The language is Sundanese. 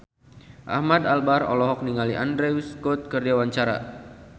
Ahmad Albar olohok ningali Andrew Scott keur diwawancara